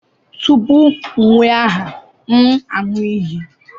Tupu m ewee aha, m aṅụ iyi.